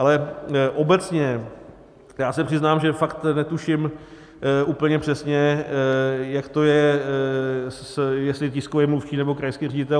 Ale obecně, já se přiznám, že fakt netuším úplně přesně, jak to je, jestli tiskový mluvčí, nebo krajský ředitel.